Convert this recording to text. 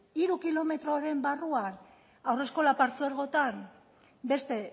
hiru kilometroren barruan haurreskola partzuergotan beste